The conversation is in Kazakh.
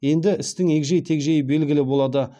енді істің егжей тегжейі белгілі болады